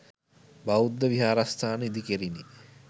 බෞද්ධ විහාරස්ථාන ඉදිකෙරිණි.